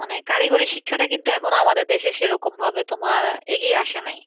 মানে কারিগরী শিক্ষাটা কিন্তু এখন আমাদের দেশে সেরকম ভাবে তোমার এগিয়ে আসে নাই।